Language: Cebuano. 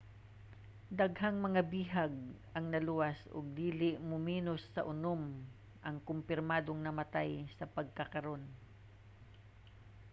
daghang mga bihag ang naluwas ug dili muminos sa unom ang kompirmadong namatay sa pagkakaron